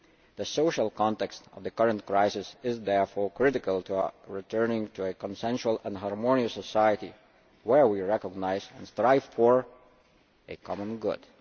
The social context of the current crisis is therefore critical to returning to a consensual and harmonious society where we recognise and strive for a common good.